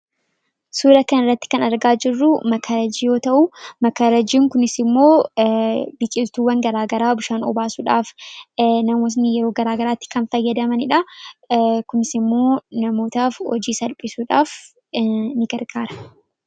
Suura kana irratti kan argaa jirruu makarajii yoo ta'uu. makarajiin kunis immoo biqiltuuwwan garaagaraa bishaan obaasuudhaaf namootni yeroo garaagaraatti kan fayyadamaniidha. kunis immoo namootaaf hojii salphisuudhaaf ni gargaara.